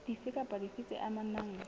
dife kapa dife tse amanang